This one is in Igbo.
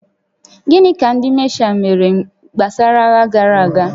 Gịnị ka ndị mashaal mere gbasara agha gara aga?